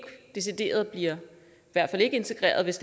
bliver integreret hvis